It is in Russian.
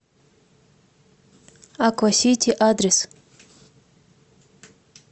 аквасити адрес